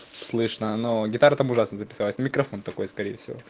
слышно но гитаре там ужасно записалась микрофон такой скорее всего